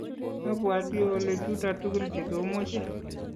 abwoti ole chuto tugul chekomeche